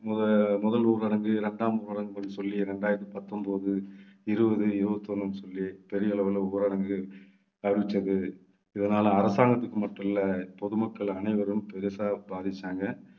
முத~ முதல் ஊரடங்கு, இர்ண்டாம் ஊரடங்கு சொல்லி இரண்டாயிரத்தி பத்தொன்பது, இருபது, இருபத்தி ஒண்ணுன்னு சொல்லி பெரிய அளவுல ஊரடங்கு அறிவிச்சது. இதனால அரசாங்கத்துக்கு மட்டும் இல்லை பொதுமக்கள் அனைவரும் பெருசா பாதிச்சாங்க